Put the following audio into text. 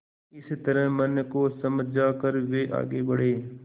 इस तरह मन को समझा कर वे आगे बढ़े